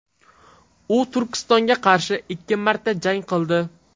U Turkistonga qarshi ikki marta jang qildi.